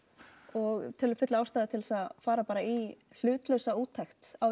og teljum fulla ástæðu til að fara bara í hlutlausa úttekt á